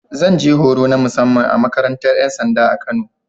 Zan je horo na musamman a makarantar ‘yan sanda ta Kano.